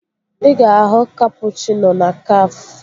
Ị ga-ahụ kapụchịno na Kafé